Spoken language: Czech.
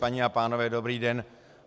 Paní a pánové, dobrý den.